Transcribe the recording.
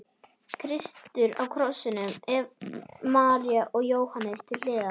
Kristur á krossinum, María og Jóhannes til hliðar.